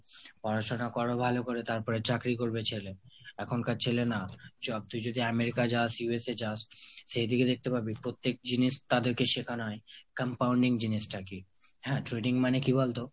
পড়াশুনো করো ভালো করে তারপর চাকরি করবে ছেলে, এখনকার ছেলে না। চ তুই যদি America যাস, USA যাস সেইদিকে দেখতে পাবি প্রত্যেক জিনিস তাদের কে শেখানো হয়। compounding জিনিস টা কি? হ্যাঁ trading মানে কি বলতো?